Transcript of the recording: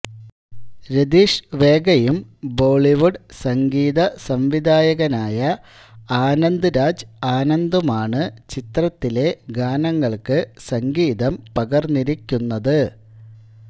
രതീഷ് വേഗയും ബോളിവുഡ് സംഗീതസംവിധായകനായ ആനന്ദ് രാജ് ആനന്ദുമാണ് ചിത്രത്തിലെ ഗാനങ്ങൾക്ക് സംഗീതം പകർന്നിരിക്കുന്നത്